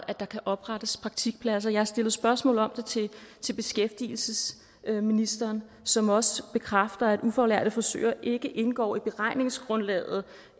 at der kan oprettes praktikpladser jeg har stillet spørgsmål om det til beskæftigelsesministeren som også bekræfter at ufaglærte frisører ikke indgår i beregningsgrundlaget